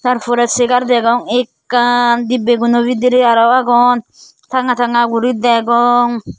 tar porey segar degong ekkan dibbey guno biderey aro agon tanga tanga guri degong.